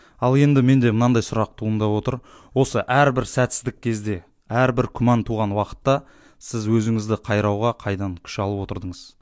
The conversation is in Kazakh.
ал енді менде мынандай сұрақ туындап отыр осы әрбір сәтсіздік кезде әрбір күмән туған уақытта сіз өзіңізді қайрауға қайдан күш алып отырдыңыз